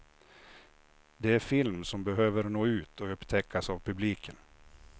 Det är film som behöver nå ut och upptäckas av publiken.